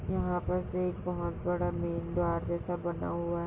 यहाँ पर से एक बहोत बड़ा मेन द्वार जैसा बना हुआ है।